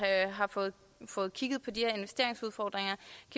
har fået fået kigget på de her investeringsudfordringer